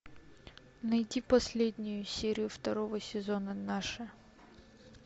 найти последнюю серию второго сезона наши